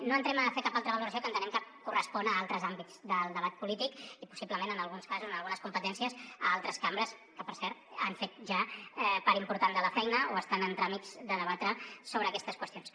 no entrem a fer cap altra valoració que entenem que correspon a altres àmbits del debat polític i possiblement en alguns casos en algunes competències a altres cambres que per cert han fet ja part important de la feina o estan en tràmits de debatre sobre aquestes qüestions